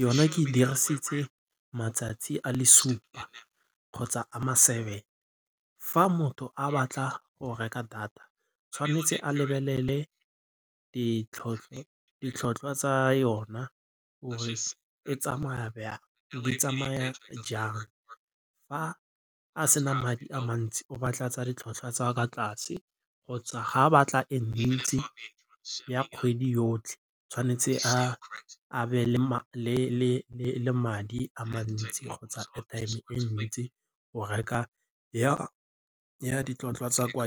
yona ke dirisitse matsatsi a le supa kgotsa a ma-seven. Fa motho a batla go reka data tshwanetse a lebelele ditlhotlhwa tsa yona gore e tsamaya jang, fa a se na madi a mantsi o batla tsa ditlhotlhwa tsa kwa tlase kgotsa fa a batla e ntsi ya kgwedi yotlhe tshwanetse a be le madi a mantsi kgotsa airtime e ntsi go reka ya ditlhotlhwa tsa kwa .